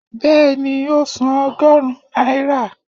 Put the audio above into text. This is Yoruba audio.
beeni, o sán ogorun naira.